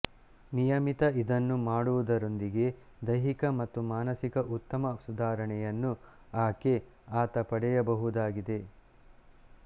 ನಿಯಮಿತ ಇದನ್ನು ಮಾಡುವುದರೊಂದಿಗೆ ದೈಹಿಕ ಮತ್ತು ಮಾನಸಿಕ ಉತ್ತಮ ಸುಧಾರಣೆಯನ್ನು ಆಕೆಆತ ಪಡೆಯಬಹುದಾಗಿದೆ